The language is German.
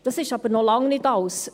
Dies ist noch längst nicht alles.